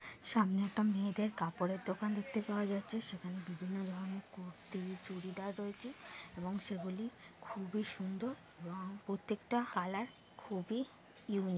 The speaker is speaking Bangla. সামনে একটা মেয়েদের কাপড়ের দোকান দেখতে পাওয়া যাচ্ছে সেখানে বিভিন্ন ধরণের কুর্তি চুড়িদার রয়েছে এবং সেগুলি খুবই সুন্দর এবং প্রত্যেকটা কালার খুবই ইউনিক--